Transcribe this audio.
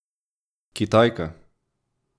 Kitajka!